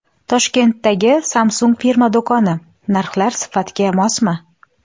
Toshkentdagi Samsung firma do‘koni: narxlar sifatga mosmi?.